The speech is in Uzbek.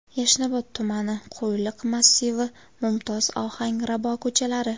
Yashnobod tumani: Qo‘yliq massivi, Mumtoz, Ohangrabo ko‘chalari.